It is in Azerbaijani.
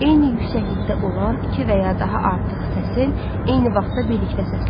Eyni yüksəklikdə olan iki və ya daha artıq səsin eyni vaxtda birlikdə səslənməsi.